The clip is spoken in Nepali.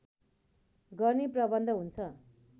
गर्ने प्रबन्ध हुन्छ